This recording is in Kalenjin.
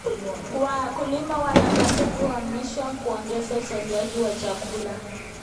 Wakulima wanapaswa kuhamasishwa kuongeza uzalishaji wa chakula.